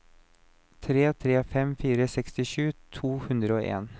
tre tre fem fire sekstisju to hundre og en